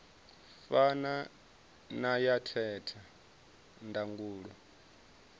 fana na ya theta ndangulo